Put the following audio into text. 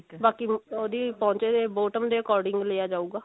ਬਾਕੀ ਉਹਦੇ ਪੌਂਚੇ bottom ਦੇ according ਲਿਆ ਜਾਉਗਾ